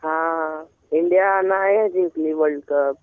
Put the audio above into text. हा इंडिया नाही जिंकली वर्ल्डकप.